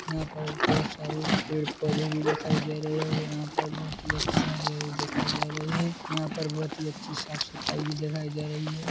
यहां पर बहुत सारे पेड़ पौधे भी दिखाई दे रहे है और यहाँ पर बहुत ही अच्छी हरी हरी दिखाई दे रही है यहाँ पर बहुत ही अच्छी साफ सफाई भी दिखाई दे रही है।